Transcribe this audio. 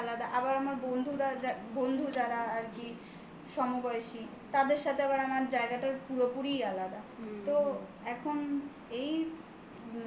জায়গাটা আলাদা. আবার আমার বন্ধুরা যা বন্ধু যারা আর কি সমবয়সী তাদের সাথে আবার আমার জায়গাটা পুরোপুরি আলাদা. হুম. তো এখন